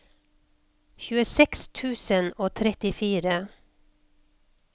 tjueseks tusen og trettifire